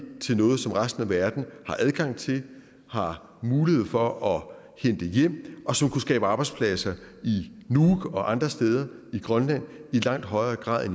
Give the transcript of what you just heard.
til noget som resten af verden har adgang til har mulighed for at hente hjem og som kunne skabe arbejdspladser i nuuk og andre steder i grønland i langt højere grad